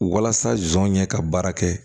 Walasa zon ɲɛ ka baara kɛ